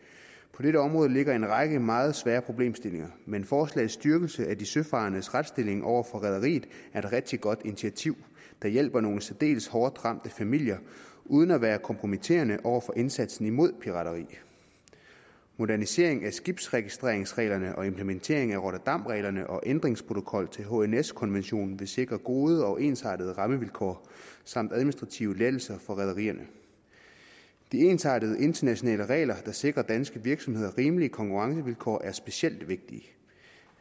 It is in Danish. på dette område ligger en række meget svære problemstillinger men forslagets styrkelse af de søfarendes retsstilling over for rederiet er et rigtig godt initiativ der hjælper nogle særdeles hårdt ramte familier uden at være kompromitterende over for indsatsen imod pirateri moderniseringen af skibsregistreringsreglerne og implementeringen af rotterdamreglerne og ændringsprotokollen til hns konventionen vil sikre gode og ensartede rammevilkår samt administrative lettelser for rederierne de ensartede internationale regler der sikrer danske virksomheder rimelige konkurrencevilkår er specielt vigtige en